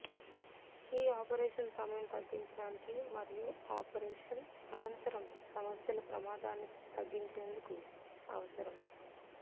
ఈ ఆపరేషన్ సమయం తగ్గించడానికి మరియు ఆపరేషన్ అనంతరం సమస్యలు ప్రమాదాన్ని తగ్గించేందుకు అవసరం